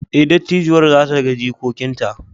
Ee, dattijuwar za ta ga jikokinta!